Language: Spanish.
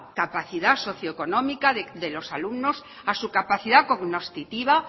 capacidad socio económica de los alumnos a su capacidad cognoscitiva